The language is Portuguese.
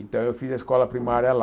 Então eu fiz a escola primária lá.